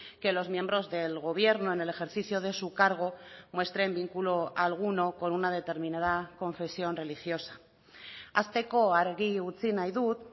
que los miembros del gobierno en el ejercicio de su cargo muestren vínculo alguno con una determinada confesión religiosa hasteko argi utzi nahi dut